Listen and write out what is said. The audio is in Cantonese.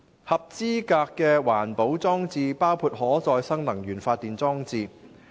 合資格的環保裝置包括可再生能源發電裝置。